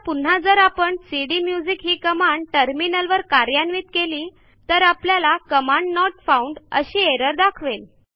आता पुन्हा जर आपण सीडीम्युझिक ही कमांड टर्मिनलवर कार्यान्वित केली तर आपल्याला कमांड नोट फाउंड अशी एरर दाखवेल